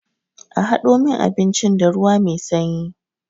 A hado min abincin da ruwa mai sanyi.